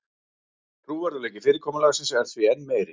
Trúverðugleiki fyrirkomulagsins er því enn meiri